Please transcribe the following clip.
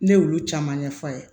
Ne y'olu caman ɲɛf'a ye